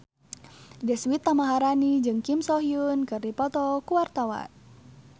Deswita Maharani jeung Kim So Hyun keur dipoto ku wartawan